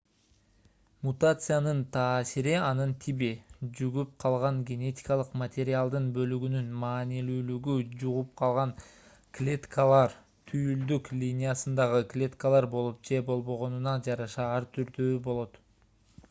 мутациянын таасири анын тиби жугуп калган генетикалык материалдын бөлүгүнүн маанилүүлүгү жугуп калган клеткалар түйүлдүк линиясындагы клеткалар болуп же болбогонуна жараша ар түрдүү болот